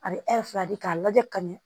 A bɛ fila di k'a lajɛ ka ɲɛ